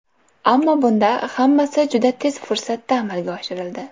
Ammo bunda hammasi juda tez fursatda amalga oshirildi.